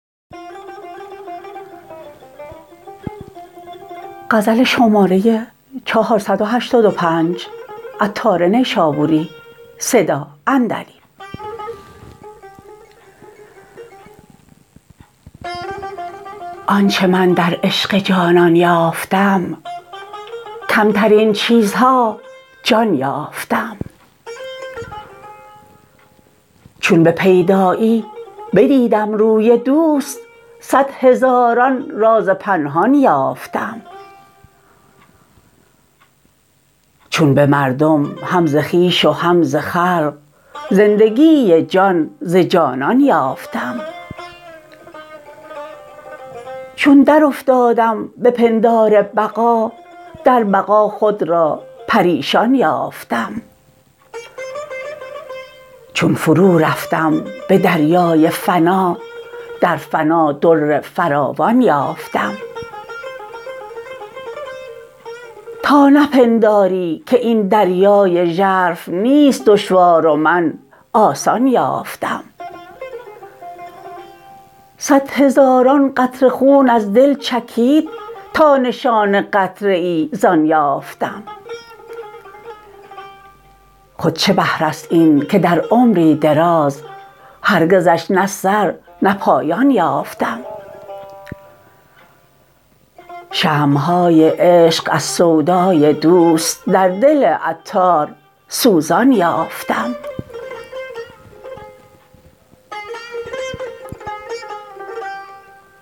آنچه من در عشق جانان یافتم کمترین چیزها جان یافتم چون به پیدایی بدیدم روی دوست صد هزاران راز پنهان یافتم چون به مردم هم ز خویش و هم ز خلق زندگی جان ز جانان یافتم چون درافتادم به پندار بقا در بقا خود را پریشان یافتم چون فرو رفتم به دریای فنا در فنا در فراوان یافتم تا نپنداری که این دریای ژرف نیست دشوار و من آسان یافتم صد هزاران قطره خون از دل چکید تا نشان قطره ای زآن یافتم خود چه بحر است این که در عمری دراز هرگزش نه سر نه پایان یافتم شمع های عشق از سودای دوست در دل عطار سوزان یافتم